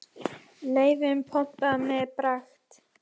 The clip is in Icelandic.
Laufin pompa með pragt.